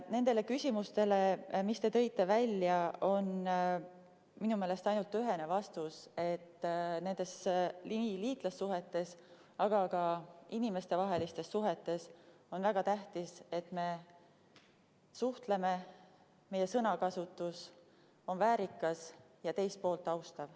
Nendele küsimustele, mis te tõite välja, on minu meelest ainult ühene vastus, et nendes suhetes, nii liitlassuhetes, aga ka inimestevahelistes suhetes on väga tähtis, et me suhtleme, meie sõnakasutus on väärikas ja teist poolt austav.